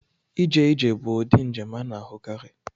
Ije ije bụ ụdị njem a na-ahụkarị.